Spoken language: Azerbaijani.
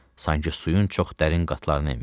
Sanki suyun çox dərin qatlarını enmişdim.